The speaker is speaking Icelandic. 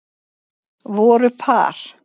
Voru par